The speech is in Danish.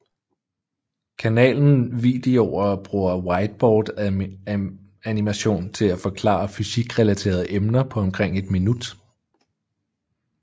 Kanalen videoer bruger whiteboardanimation til at forklare fysikrelaterede emner på omkring et minut